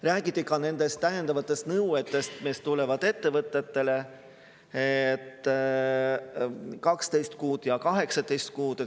Räägiti ka nendest täiendavatest nõuetest, mis tulevad ettevõtetele – 12 kuud ja 18 kuud.